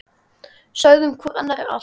Sögðum hvor annarri allt.